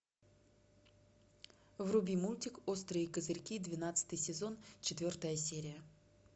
вруби мультик острые козырьки двенадцатый сезон четвертая серия